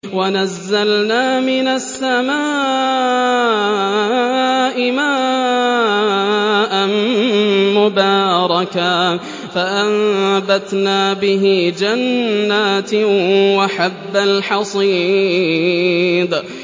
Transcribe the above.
وَنَزَّلْنَا مِنَ السَّمَاءِ مَاءً مُّبَارَكًا فَأَنبَتْنَا بِهِ جَنَّاتٍ وَحَبَّ الْحَصِيدِ